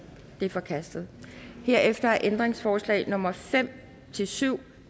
de er forkastet herefter er ændringsforslag nummer fem syv